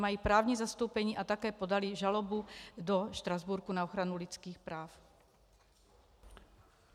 Mají právní zastoupení a také podali žalobu do Štrasburku na ochranu lidských práv.